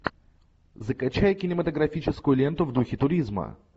закачай кинематографическую ленту в духе туризма